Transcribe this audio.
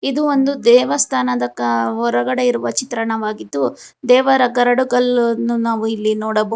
ಇದು ಒಂದು ದೇವಸ್ಥಾನದ ಕ ಹೊರಗಡೆ ಇರುವ ಚಿತ್ರವಾಗಿದ್ದು ದೇವರ ಕರಡು ಗಲ್ಲು ಒಂದು ನಾವು ಇಲ್ಲಿ ನೋಡಬಹುದು.